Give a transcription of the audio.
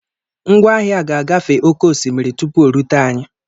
Ngwá ahịa ga-agafe oke osimiri tupu o rute anyị.